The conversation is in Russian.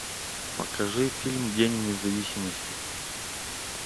покажи фильм день независимости